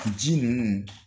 Ji nun